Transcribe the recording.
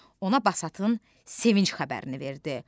Ona Basatın sevinc xəbərini verdi.